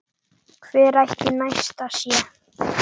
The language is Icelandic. Hvar ætli Nesta sé?